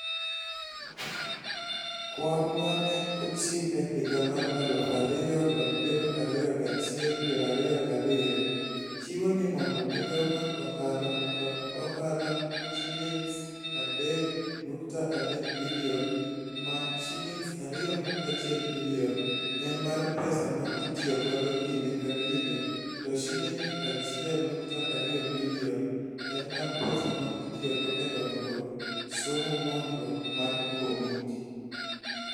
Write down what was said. Kwan ma ne ochiw e higa mar 2021/22 chiwo ni mondo mi migawo mar ohala kod ohala Sh3.3 billion ma Sh2.1 billion en mar pesa ma itiyo godo kinde ka kinde to Sh1.2 billion en mar pesa ma itiyogo e dongruok, somo nonro mar komiti.